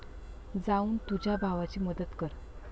जाऊन तुझ्या भावाची मदत कर.